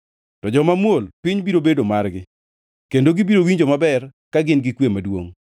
To joma muol piny biro bedo margi kendo gibiro winjo maber ka gin gi kwe maduongʼ.